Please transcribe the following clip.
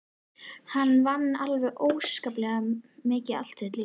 Hann vann alveg óskaplega mikið allt sitt líf.